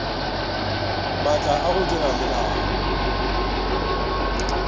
maatla a go dira melao